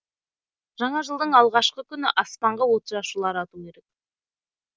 жаңа жылдың алғашқы күні аспанға отшашулар ату керек